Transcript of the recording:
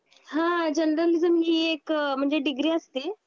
हां जर्नलिज्म हि एक अ म्हणजे डिग्री असते.